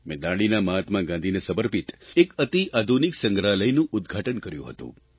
મેં દાંડીના મહાત્મા ગાંધીને સમર્પિત એક અતિ આધુનિક સંગ્રહાલયનું ઉદઘાટન કર્યું હતું